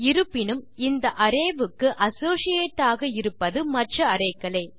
இருப்பினும் இந்த அரே க்கு அசோசியேட் ஆக இருப்பது மற்ற அரே க்களே